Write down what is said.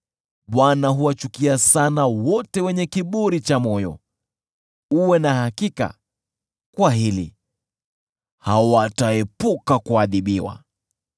Bwana huwachukia sana wote wenye kiburi cha moyo. Uwe na hakika kwa hili: Hawataepuka kuadhibiwa.